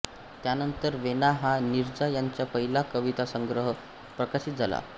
त्यानंतर वेणा हा नीरजा यांचा पहिला कवितासंग्रह प्रकाशित झाला